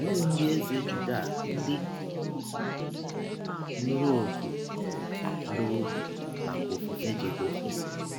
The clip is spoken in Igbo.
Ọlee ndị Eze Juda ndị nụrụ ọkụ um n’ọbi maka ọfụfe Jehọva?